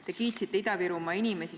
Te kiitsite Ida-Virumaa inimesi.